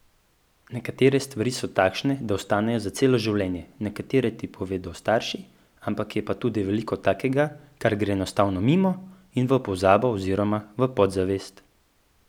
Nekatere stvari so takšne, da ostanejo za celo življenje, nekatere ti povedo starši, ampak je pa tudi veliko takega, kar gre enostavno mimo in v pozabo oziroma v podzavest.